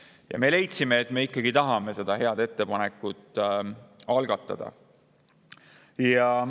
Ja me leidsime, et me ikkagi tahame seda head algatada.